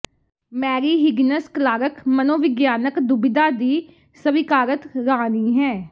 Mary Higgins Clark ਮਨੋਵਿਗਿਆਨਕ ਦੁਬਿਧਾ ਦੀ ਸਵੀਕਾਰਤ ਰਾਣੀ ਹੈ